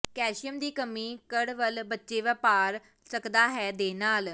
calcium ਦੀ ਕਮੀ ਕੜਵੱਲ ਬੱਚੇ ਵਾਪਰ ਸਕਦਾ ਹੈ ਦੇ ਨਾਲ